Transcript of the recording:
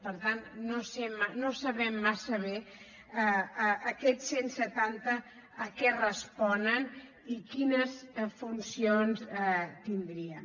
per tant no sabem massa bé aquests cent setanta a què responen i quines funcions tindrien